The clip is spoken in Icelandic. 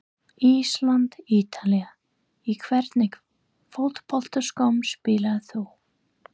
Ísland- Ítalía Í hvernig fótboltaskóm spilar þú?